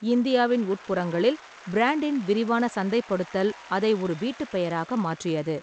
இந்தியாவின் உட்புறங்களில் பிராண்டின் விரிவான சந்தைப்படுத்தல் அதை ஒரு வீட்டுப் பெயராக மாற்றியது.